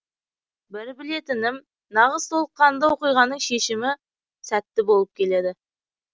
бір білетінім нағыз толыққанды оқиғаның шешімі сәтті болып келеді